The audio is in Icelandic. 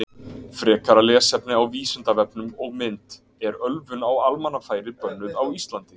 Frekara lesefni á Vísindavefnum og mynd Er ölvun á almannafæri bönnuð á Íslandi?